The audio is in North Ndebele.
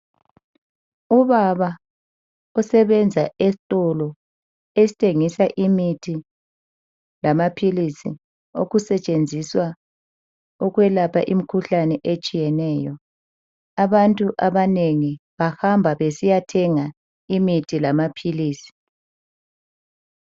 Ubaba osebenza esitolo esithengisa imithi lamaphilizi okusetshenziswa ukwelapha imikhuhlane etshiyeneyo abantu abanengi bahamba besiyathenga imithi lamaphilisi.